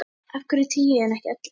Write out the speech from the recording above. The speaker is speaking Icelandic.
Af hverju tíu en ekki ellefu?